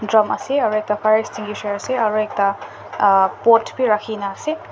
drum ase aru ekta fire extinguisher ase aru ekta pot bhi rakhi kina ase.